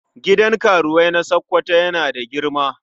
Gidan karuwai na Sokoto yana da girma.